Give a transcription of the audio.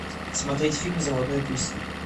смотреть фильм заводной апельсин